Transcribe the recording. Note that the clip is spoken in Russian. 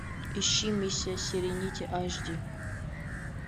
ищи миссия серенити аш ди